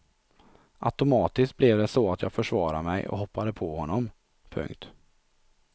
Automatiskt blev det så att jag försvarade mig och hoppade på honom. punkt